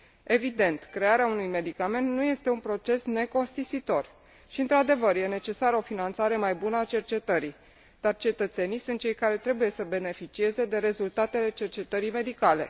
Evident, crearea unui medicament nu este un proces necostisitor și, într adevăr, este necesară o finanțare mai bună a cercetării, dar cetățenii sunt cei care trebuie să beneficieze de rezultatele cercetării medicale.